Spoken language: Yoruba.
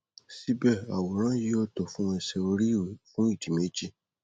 síbẹ àwòrán yìí ò tó fún ẹṣẹ oríiwe fún ìdí méjì